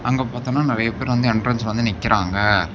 அங்க பாத்தோம்னா நறைய பேர் வந்து என்ட்ரன்ஸ் வந்து நிக்கறாங்க.